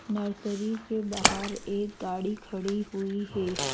Nursery के बाहर एक गाड़ी खड़ी हुई है।